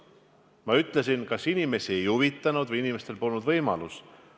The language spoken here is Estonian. Ma ütlesin: kas inimesi ei huvitanud maksude maksmine või neil polnud selleks võimalust.